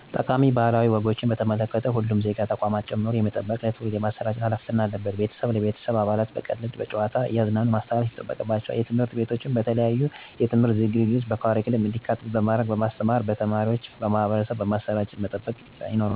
ጠቃሚ ባህላዊ ወጎችን በተመለከቱ ሁሉም ዜጋ ተቋማትን ጨምሮ የመጠበቅና ለትውልድ የማሰራጨት ሀላፊነት አለብን። ቤተሰብ ለቤተሰብ አባላቱ በቀልድ እና በጨዋታ እያዝናኑ ማስተላለፍ ይጠበቅባቸዋል። ትምህርት ቤቶችም በተለያዩ የትምህርት ዝግጅቶች በካሪኩለም እንዲካተት በማድረግ እና በማስተማር በተማሪዎች አማካኝነት ለማህበረሰቡ ማሰራጨትና መጠበቅ ይኖርባቸዋል እኔም ብሆን ከቤተሰቤ ወይም ከእኩዮቼ የተቀበልኳቸውን ጠቃሚ ባህላዊ ወጎችን ለልጆቼ እና ለቅርብ ባልንጀሮቼ በመንገር መጠበቅና ማሠራጨት ይጠበቅብኛል።